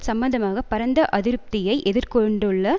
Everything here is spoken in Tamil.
சம்பந்தமாக பரந்த அதிருப்தியை எதிர் கொண்டுள்ள